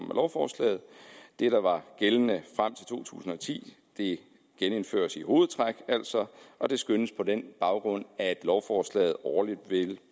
lovforslaget det der var gældende frem til to tusind og ti genindføres altså i hovedtræk og det skønnes på den baggrund at lovforslaget årligt vil